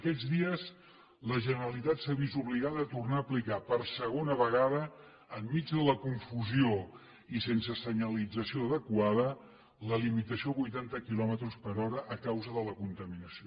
aquests dies la generalitat s’ha vist obligada a tornar a aplicar per segona vegada enmig de la confusió i sense senyalització adequada la limitació a vuitanta quilòmetres per hora a causa de la contaminació